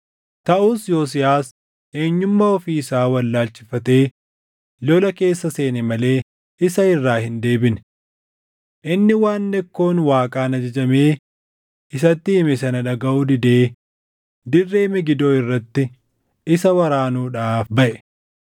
Taʼus Yosiyaas eenyumaa ofii isaa wallaalchifatee lola keessa seene malee isa irraa hin deebine. Inni waan Nekkoon Waaqaan ajajamee isatti hime sana dhagaʼuu didee dirree Megidoo irratti isa waraanuudhaaf baʼe.